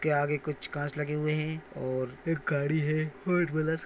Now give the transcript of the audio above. उसके आगे कुछ काच लगे हुए है और एक गाड़ी है फोर व्हिल्लर ।